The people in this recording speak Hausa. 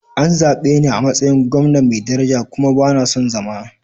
An zabe ni a matsayin gwamna mai daraja kuma ba na son zama.